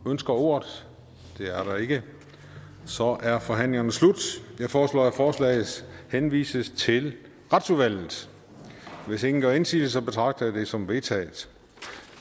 ønsker ordet det er der ikke så er forhandlingerne slut jeg foreslår at forslaget henvises til retsudvalget hvis ingen gør indsigelse betragter jeg det som vedtaget